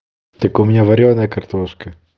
так у меня варёная картошка